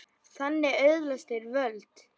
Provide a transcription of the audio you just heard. Því þannig öðlast þeir völd.